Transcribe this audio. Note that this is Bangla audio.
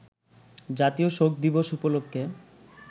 জাতীয় শোক দিবস উপলক্ষে